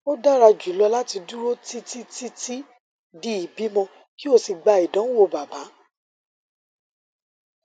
o dara julọ lati duro titi titi di ibimọ ki o si gba idanwo baba